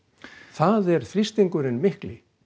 það er þrýstingurinn mikli